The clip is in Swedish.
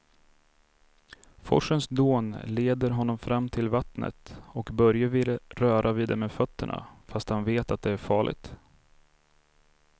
Forsens dån leder honom fram till vattnet och Börje vill röra vid det med fötterna, fast han vet att det är farligt.